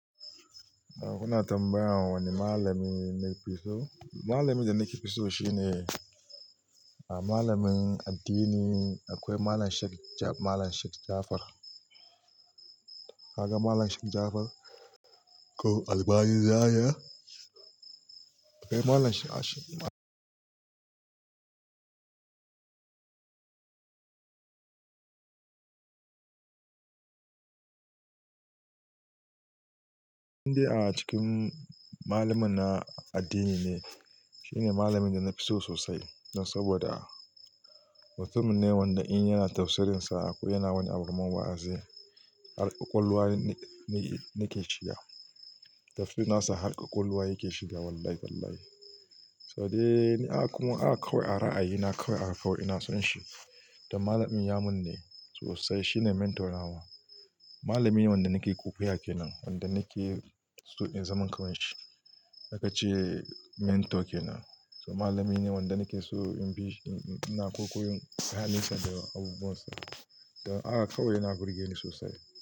Ana tambaya da wani malami na fi so. Malamin da nake fiso shine a malamin addini akwai Malam Sheik Ja-- Malam Sheik Jafar. Ka ga Malam Sheik Jafar? Ko albani zaria? Ko Malam Sheik Ash Indai a cikin maluman na addini ne shine malamin da na fi so sosai. Saboda mutum ne wanda in yana tafsirinsa ko yana wani abu kaman wa'azi. Harƙwaƙwalwa ne, ne, yake shiga. Tafsir nasa harƙwaƙwalwa yake shiga wallahi tallahi. So dai, kuma haka kawai a ra'ayi, na kawai haka kawai ina son shi. Dan malamin yamun ne sosai. Shi ne mentor na wa. Malami ne wanda nake kwaikwaya ke nan. Wanda nake so in zaman kaman shi. Aka ce mentor kenan. So malami ne wanda nake so in bishi, ina kwaikwayon halinsa da abubuwan sa. Dan haka kawai yana burge ni sosai.